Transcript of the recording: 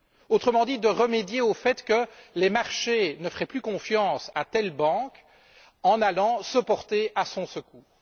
Autrement dit, de remédier au fait que les marchés ne feraient plus confiance à telle banque, en allant se porter à son secours.